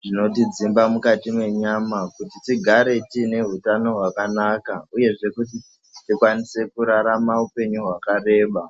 zvinoti dzimba mukati mwenyama kuti tigare tiine utano wakanaka uye zvee kuti tikwanise kurarama upenyu wakareba.